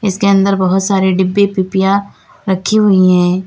इसके अंदर बहुत सारे डिब्बे पीपियां रखी हुई है।